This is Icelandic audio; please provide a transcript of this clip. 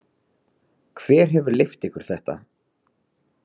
Hver hefur leyft ykkur þetta?